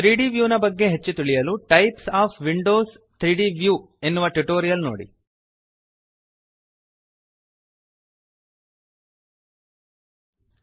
3ದ್ ವ್ಯೂನ ಬಗ್ಗೆ ಹೆಚ್ಚು ತಿಳಿಯಲು ಟೈಪ್ಸ್ ಒಎಫ್ ವಿಂಡೋಸ್ 3ದ್ ವ್ಯೂ ಟೈಪ್ಸ್ ಆಫ್ ವಿಂಡೋಸ್ 3ದ್ ವ್ಯೂ ಎನ್ನುವ ಟ್ಯುಟೋರಿಯಲ್ ನೋಡಿ